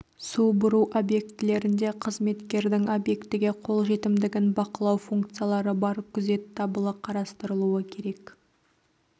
су бұру объектілерінде қызметкердің объектіге қолжетімдігін бақылау функциялары бар күзет дабылы қарастырылуы керек